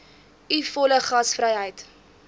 u volle gasvryheid